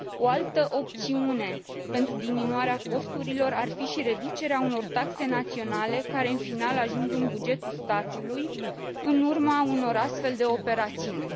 O altă opțiune pentru diminuarea costurilor ar fi și reducerea unor taxe naționale care, în final, ajung în bugetul statului în urma unor astfel de operațiuni.